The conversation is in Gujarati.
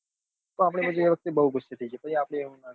તો આપડે પછી એ વખતે ગુસ્સે થઇ જઈએ પછી એમ નાં કરવું